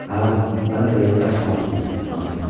Hə, mənə də yaddaş lazımdır, lazımdır.